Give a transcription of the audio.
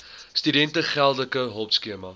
studente geldelike hulpskema